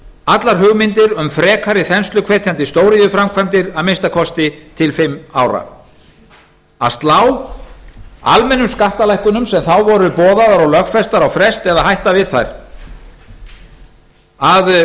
allar hugmyndir um frekari þensluhvetjandi stóriðjuframkvæmdir að minnsta kosti til fimm ára að slá að slá almennum skattalækkunum sem þá voru boðaðar og lögfestar á frest eða hætta við þær að